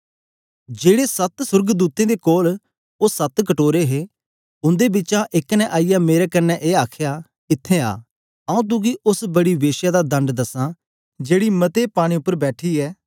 जेड़े सत्त सोर्गदूतें दे कोल ओ सत्त कटोरे हे उंदे बिचा एक ने आईयै मेरे कन्ने ए आखया इत्थैं आ आऊँ तुगी ओस बड़ी वेश्या दा दंड दसा जेकी मते पानी उपर बैठी ऐ